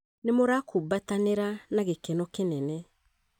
nĩ mũrakumbatanĩra na gĩkeno kĩnene